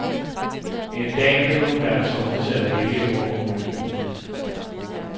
En dag vil hun være tvunget til at vælge, hvor hun vil bo.